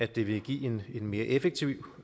det vil give en mere effektiv